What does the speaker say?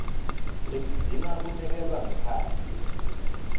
letidzinga kunekelwa ngekhatsi